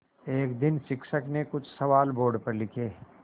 एक दिन शिक्षक ने कुछ सवाल बोर्ड पर लिखे